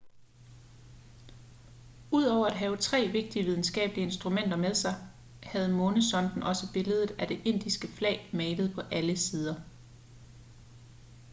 udover at have tre vigtige videnskabelige instrumenter med sig havde månesonden også billedet af det indiske flag malet på alle sider